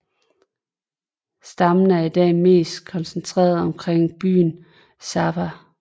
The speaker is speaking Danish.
Stammen er i dag mest koncentreret omkring byen Sabha